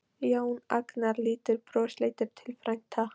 Jón Agnar lítur brosleitur til frænda.